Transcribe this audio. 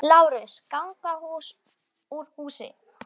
LÁRUS: Ganga hús úr húsi!